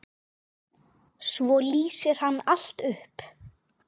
Svo lýsir hann allt upp.